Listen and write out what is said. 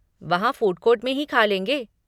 वहाँ फूडकोर्ट में ही खा लेंगे।